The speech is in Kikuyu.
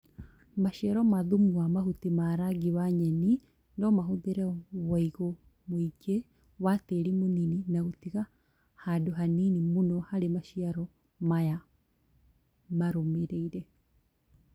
Maciaro ma thumu wa mahuti ma rangi wa nyeni nomahũthĩre wũigũ mũingĩ wa tĩri mũnini na gũtiga handũ hanini mũno harĩ maciaro maya marũmĩrĩire